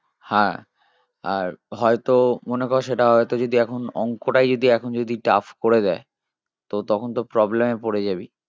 হা আর হয় তো মনে কর সেটা হয়তো যদি এখন অঙ্কটাই যদি এখন যদি tough করে দেয় তো তখন তো problem এ পরে যাবি